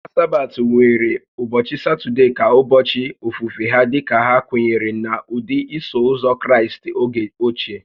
Ụka Sabbath nwere ụbọchị Satọde ka ụbọchị ofufe ha dika ha kwenyere n'ụdị Iso Ụzọ Kraịst oge ochie